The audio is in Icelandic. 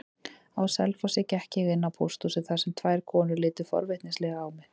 Á Selfossi gekk ég inn á pósthúsið þar sem tvær konur litu forvitnislega á mig.